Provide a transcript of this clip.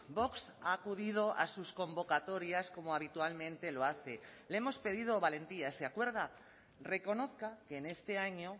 vox ha acudido a sus convocatorias como habitualmente lo hace le hemos pedido valentía se acuerda reconozca que en este año